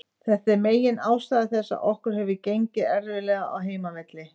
Þetta er megin ástæða þess að okkur hefur gengið erfiðlega á heimavelli.